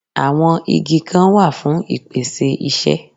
Àwọn Igi Kan wà fún ìpèsè isẹ́